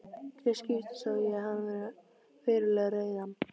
Í tvö skipti sá ég hann verulega reiðan.